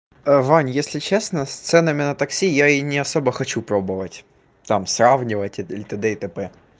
вань если честно с ценами на такси я и не особо хочу пробовать там сравнивать и тд и тп